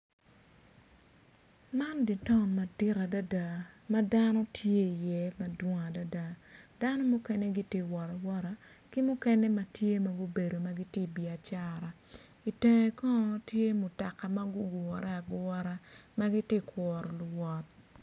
Man dye taun madit adada ma dano tye iye madwong adada dano mukene gitye ka wot awota ki mukene ma gubedo ma gitye i biacara i tenge kono tye mutoka ma gugure agura ma gitye ka kuru luwot.